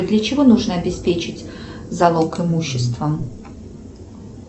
для чего нужно обеспечить залог имуществом